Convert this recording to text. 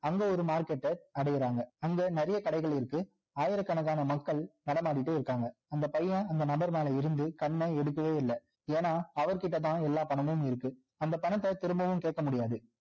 அங்க ஒரு market ட அடையிறாங்க அங்க நிறைய கடைகள் இருக்கு ஆயிர கணக்கான மக்கள் நடமாடிட்டே இருக்காங்க அந்த பையன் அந்த நபர் பேல இருந்து கண்ண எடுக்கவே இல்ல ஏன்னா அவர் கிட்ட தான் எல்லா பணமும் இருக்கு அந்த பணத்த திரும்பவும் கேட்கமுடியாது